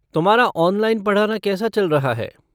तुम्हारा ऑनलाइन पढ़ाना कैसा चल रहा है?